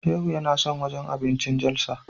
Shehu yana son wajen abincin Jalsa.